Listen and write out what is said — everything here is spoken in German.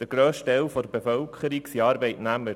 Der grösste Teil der Bevölkerung sind Arbeitnehmer.